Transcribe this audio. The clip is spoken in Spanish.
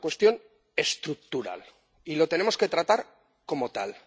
Es una cuestión estructural y la tenemos que tratar como tal.